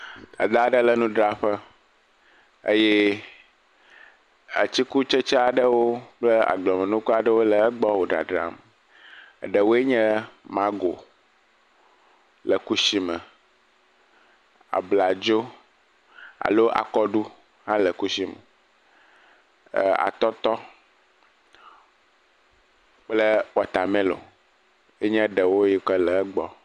Dadaa ɖe le nudraƒe eye atikutsetse aɖewo kple agbemenuku aɖewo le egbɔ wò ɖadram. Ɖewoe nye mago le kushime, abladzo alo akɔɖu hã le kusime, ɛɛɛɛ atɔtɔ kple wɔtamelɔŋ enye ɖewo yi ke le egbɔ.